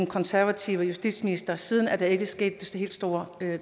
konservative justitsminister siden da er der ikke sket de helt store